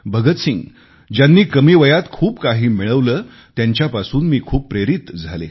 भगत सिंग ज्यांनी कमी वयात खूप काही मिळवले त्यांच्यापासून मी खूप प्रेरित झाले